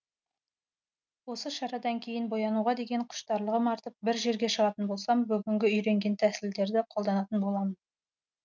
осы шарадан кейін боянуға деген құштарлығым артып бір жерге шығатын болсам бүгінгі үйренген тәсілдерді қолданатын боламын